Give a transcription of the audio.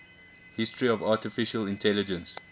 history of artificial intelligence